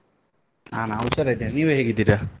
ನಾನಾ ಹುಷಾರಿದ್ದೇನೆ ನೀವ್ ಹೇಗಿದ್ದೀರ?